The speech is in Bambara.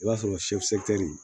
I b'a sɔrɔ